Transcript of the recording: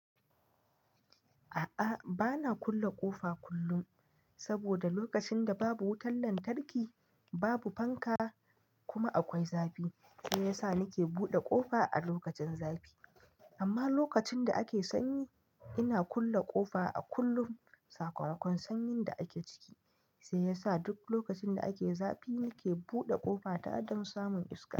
A'a, bana kulle ƙofa kullum saboda lokacin da babu wutar lantarki, babu fanka kuma akwai zafi. Shi yasa nake buɗe ƙofa a lokacin zafi. Amma lokacin da ake sanyi, ina kulle ƙofa a kullum. Sakamakon sanyin da ake ciki, sai yasa duk lokacin da ake zafi nike buɗe ƙofa ta don samun iska.